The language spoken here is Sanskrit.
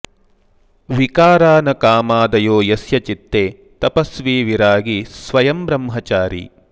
विकारा न कामादयो यस्य चित्ते तपस्वी विरागी स्वयं ब्रह्मचारी